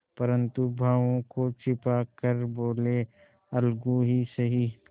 परंतु भावों को छिपा कर बोलेअलगू ही सही